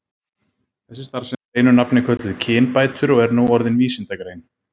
Þessi starfsemi er einu nafni kölluð kynbætur og er nú orðin vísindagrein.